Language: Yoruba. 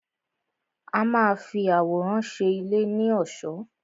A má a fi àwòrán ṣe ilé ní ọ̀ṣọ́.